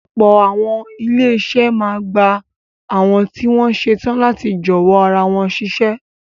Ọ̀pọ̀ àwọn ilé-iṣẹ́ máa ń gba àwọn tí wọ́n ṣetán láti jọ̀wọ́ ara wọn síṣẹ́.